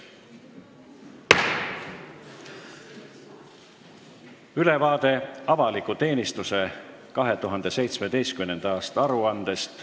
Järgmine päevakorrapunkt: ülevaade avaliku teenistuse 2017. aasta aruandest.